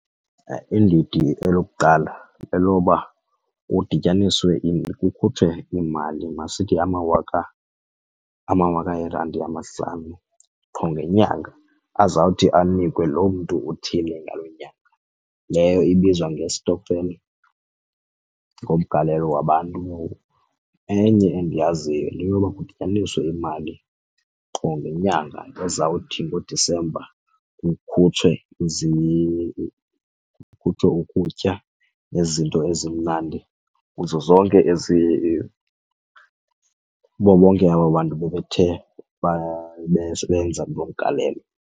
Iindidi elokuqala leloba kudityaniswe kukhutshwe imali masithi amawaka amawaka eerandi amahlanu qho ngenyanga azawuthi anikwe loo mntu uthile ngaloo nyanga. Leyo ibizwa ngestokfela ngumgalelo wabantu. Enye endiyaziyo yile yoba kudityaniswe imali qho ngenyanga ezawuthi ngoDisemba kukhutshwe kuthiwe ukutya nezinto ezimnandi kuzo zonke ezi kubo bonke aba bantu bebethe besebenza lo mgalelo.